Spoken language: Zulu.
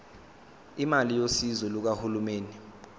imali yosizo lukahulumeni